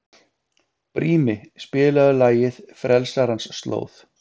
Brími, spilaðu lagið „Frelsarans slóð“.